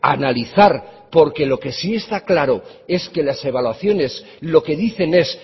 analizar porque lo que sí está claro es que las evaluaciones lo que dicen es